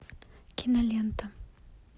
кинолента